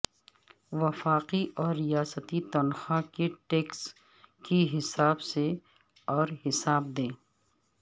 وفاقی اور ریاستی تنخواہ کے ٹیکس کی حساب سے اور حساب دیں